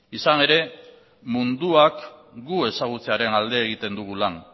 izan ere munduak gu ezagutzearen alde egiten dugu lan